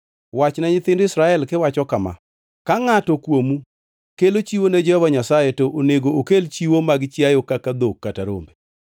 Wachne nyithind Israel kiwacho kama: Ka ngʼato kuomu kelo chiwo ne Jehova Nyasaye, to onego okel chiwo mag chiayo kaka dhok kata rombe.